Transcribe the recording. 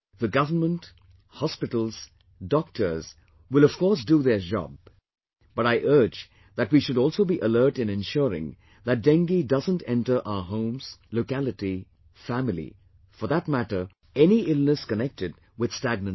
The government, hospitals, doctors will of course do their job, but I urge that we should also be alert in ensuring that Dengue doesn't enter our homes, locality, family, for that matter, any illness connected with stagnant water